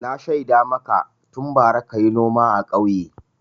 Na shaida maka tun bara ka yi noma a ƙauye.